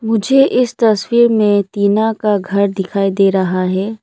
मुझे इस तस्वीर में तीना का घर दिखाई दे रहा है।